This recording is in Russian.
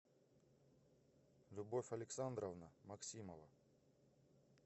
любовь александровна максимова